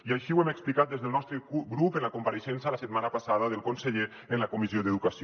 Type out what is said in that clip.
i així ho hem explicat des del nostre grup en la compareixença la setmana passada del conseller en la comissió d’educació